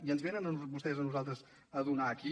i ens venen vostès a nosaltres a donar aquí